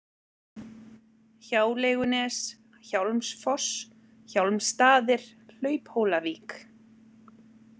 Hjáleigunes, Hjálmsfoss, Hjálmstaðir, Hlauphólavík